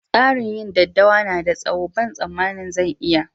Tsarin yin daddawa na da tsawo, ban samani zan iya ba.